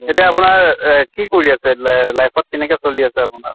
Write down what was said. এতিয়া আপোনাৰ এহ কি কৰি আছে? লাই life ত কেনেকে চলি আছে আপোনাৰ?